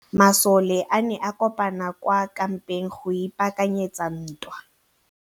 Masole a ne a kopane kwa kampeng go ipaakanyetsa ntwa.